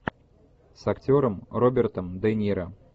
с актером робертом де ниро